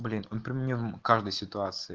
блин он про меня в каждой ситуации